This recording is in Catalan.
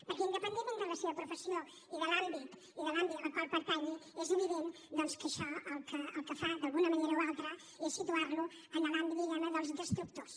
perquè independentment de la seva professió i de l’àmbit al qual pertanyi és evident doncs que això el que fa d’alguna manera o altra és situar lo en l’àmbit diguem ne dels destructors